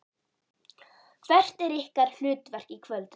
Hvert er ykkar hlutverk í kvöld?